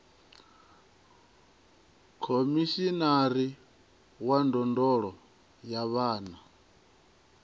khomishinari wa ndondolo ya vhana